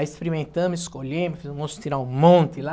Aí experimentamos, escolhemos, fiz o moço tirar um monte lá.